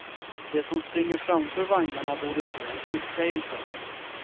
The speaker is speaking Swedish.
De som springer framför vagnarna borde få en tillsägelse.